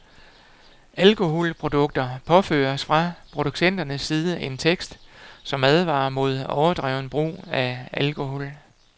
Alkoholprodukter påføres fra producenternes side en tekst, som advarer mod overdreven brug af alkohol.